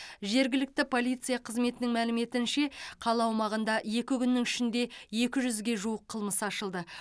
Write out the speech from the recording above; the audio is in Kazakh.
жергілікті полиция қызметінің мәліметінше қала аумағында екі күннің ішінде екі жүзге жуық қылмыс ашылды